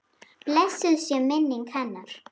Blessuð sé minning hennar.